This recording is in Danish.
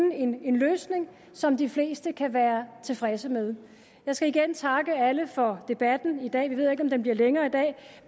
en løsning som de fleste kan være tilfredse med jeg skal igen takke alle for debatten i dag vi ved jo ikke om den bliver længere i dag